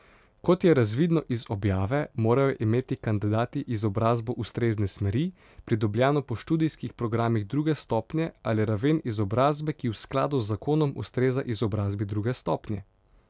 Kot je razvidno iz objave, morajo imeti kandidati izobrazbo ustrezne smeri, pridobljeno po študijskih programih druge stopnje, ali raven izobrazbe, ki v skladu z zakonom ustreza izobrazbi druge stopnje.